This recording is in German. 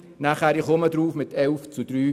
Ich komme noch darauf zurück.